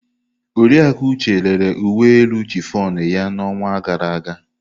Oriakụ Uche rere uwe elu chiffon ya n'ọnwa gara aga.